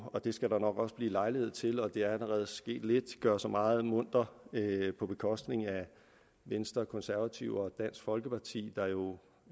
og det skal der nok også blive lejlighed til og det er allerede sket lidt gøre sig meget munter på bekostning af venstre konservative og dansk folkeparti der jo